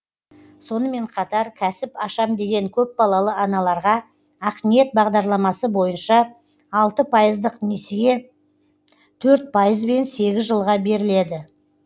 сонымен қатар кәсіп ашам деген көпбалалы аналарға ақниет бағдарламасы бойынша алты пайыздық несие төрт пайызбен сегіз жылға беріледі